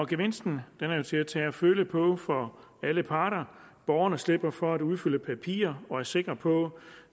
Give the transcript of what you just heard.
gevinsten er til at tage og føle på for alle parter borgerne slipper for at udfylde papirer og er sikre på